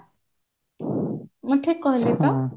ମୁଁ ଠିକ କହିଲି ତ